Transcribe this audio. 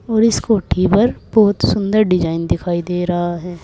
और इस कोठी पर बहुत सुंदर डिजाइन दिखाई दे रहा है।